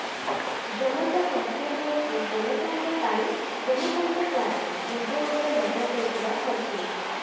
ଜନତା curfew ହେଉଛି ଜନତାଙ୍କ ପାଇଁ ଜନତାଙ୍କ ଦ୍ବାରା ନିଜ ଉପରେ ଲଗାଯାଇଥିବା କର୍ଫ୍ୟୁ